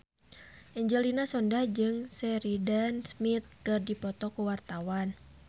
Angelina Sondakh jeung Sheridan Smith keur dipoto ku wartawan